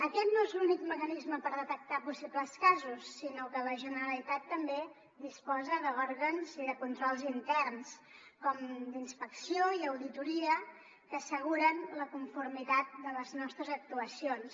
aquest no és l’únic mecanisme per detectar possibles casos sinó que la generalitat també disposa d’òrgans i de controls interns com d’inspecció i auditoria que asseguren la conformitat de les nostres actuacions